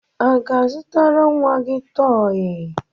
A ga-azụtara nwa gị tọọyị?